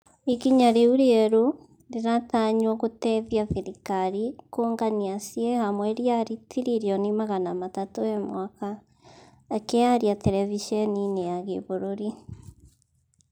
ikinya rĩu rĩerũ, rĩratanywo gũteithia thirikari kũngania ciĩ hamwe riari tiririoni magana matatu he mwaka, akaĩaria terevisheni-inĩ ya gĩbũrũri